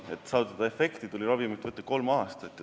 Et saavutada efekti, tuli võtta ravimit kolm aastat.